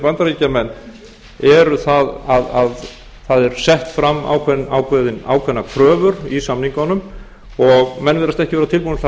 bandaríkjamenn sé að það eru settar fram ákveðnar kröfur í samningunum og menn virðast ekki vera tilbúnir til þess að